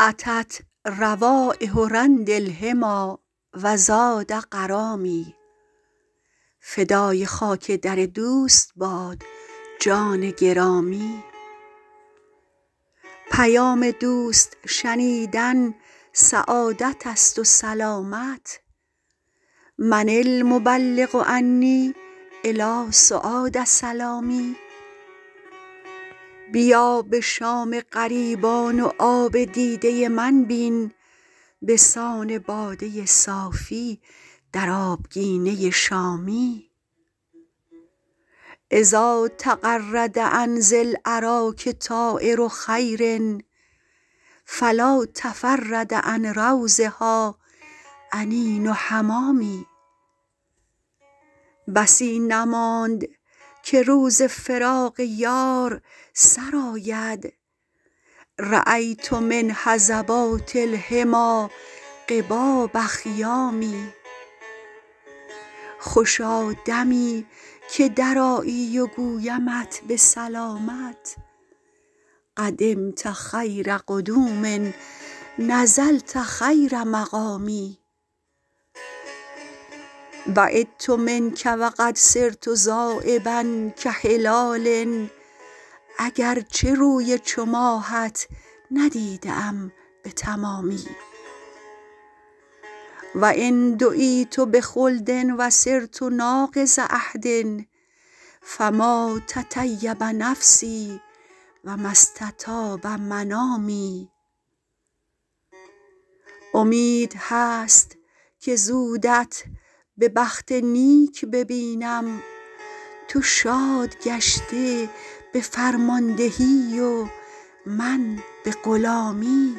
أتت روایح رند الحمیٰ و زاد غرامی فدای خاک در دوست باد جان گرامی پیام دوست شنیدن سعادت است و سلامت من المبلغ عنی إلی سعاد سلامی بیا به شام غریبان و آب دیده من بین به سان باده صافی در آبگینه شامی إذا تغرد عن ذی الأراک طایر خیر فلا تفرد عن روضها أنین حمامي بسی نماند که روز فراق یار سر آید رأیت من هضبات الحمیٰ قباب خیام خوشا دمی که درآیی و گویمت به سلامت قدمت خیر قدوم نزلت خیر مقام بعدت منک و قد صرت ذایبا کهلال اگر چه روی چو ماهت ندیده ام به تمامی و إن دعیت بخلد و صرت ناقض عهد فما تطیب نفسی و ما استطاب منامی امید هست که زودت به بخت نیک ببینم تو شاد گشته به فرماندهی و من به غلامی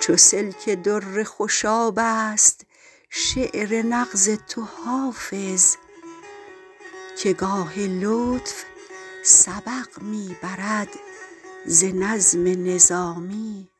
چو سلک در خوشاب است شعر نغز تو حافظ که گاه لطف سبق می برد ز نظم نظامی